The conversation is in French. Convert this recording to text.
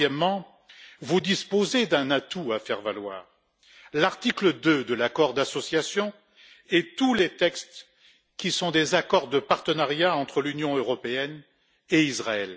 Troisièmement, vous disposez d'un atout à faire valoir l'article 2 de l'accord d'association et tous les textes qui sont des accords de partenariat entre l'Union européenne et Israël.